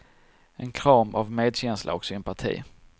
En kram av medkänsla och sympati.